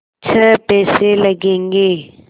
छः पैसे लगेंगे